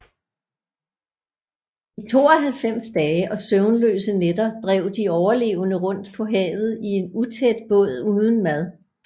I 92 dage og søvnløse nætter drev de overlevende rundt på havet i en utæt båd uden mad